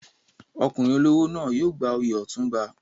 Ọkùnrin olówó náà yóò gba oyè Otunba.